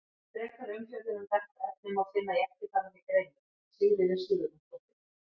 Frekari umfjöllun um þetta efni má finna í eftirfarandi greinum: Sigríður Sigurjónsdóttir.